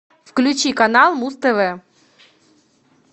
включи канал муз тв